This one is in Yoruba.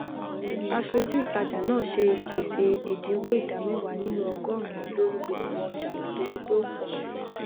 aṣojú ìtajà náà ṣe ìpèsè ẹdínwó ìdá mẹwàá nínú ọgọrùnún lórí gbogbo ọjà nítorí pé ó pọ